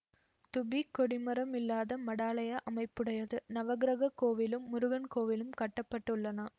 தூபி கொடிமரம் இல்லாத மடாலய அமைப்புடையது நவக்கிரக கோவிலும் முருகன் கோவிலும் கட்ட பட்டுள்ளன